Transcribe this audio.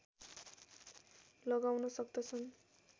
लगाउन सक्दछ